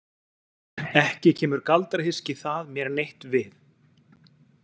Ekki kemur galdrahyski það mér neitt við.